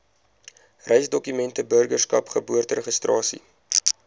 reisdokumente burgerskap geboorteregistrasie